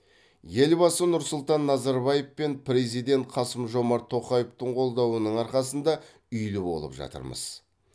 елбасы нұрсұлтан назарбаев пен президент қасым жомарт тоқаевтың қолдауының арқасында үйлі болып жатырмыз